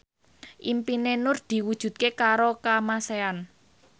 impine Nur diwujudke karo Kamasean